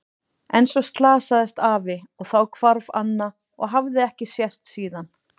En svo slasaðist afi og þá hvarf Anna og hafði ekki sést síðan.